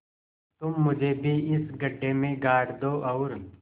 तुम मुझे भी इस गड्ढे में गाड़ दो और